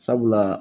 Sabula